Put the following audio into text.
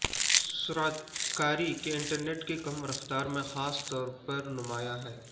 سرعت کاری کے انٹرنیٹ کی کم رفتار میں خاص طور پر نمایاں ہے